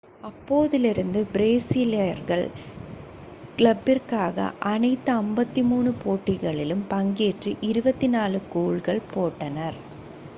அப்போதிலிருந்து பிரேசீலியர்கள் கிளப்பிற்கான அனைத்து 53 போட்டிகளிலும் பங்கேற்று 24 கோல்கள் போட்டனர்